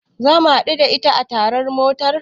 Zamu haɗu da ita a tashar motar.